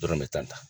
Dɔrɔn bɛ tan ta